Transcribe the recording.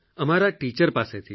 અમારા ટીચર પાસેથી